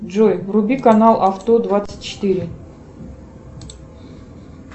джой вруби канал авто двадцать четыре